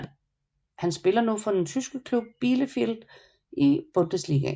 Han spiller nu for den tyske klub Bielefeld i Bundesligaen